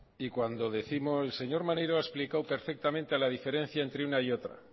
y cuando décimos el señor maneiro ha explicado perfectamente la diferencia entre una y otra